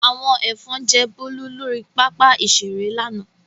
Àwọn ẹ̀fọn jẹ Bólú lórí pápá-ìṣeré lánàá.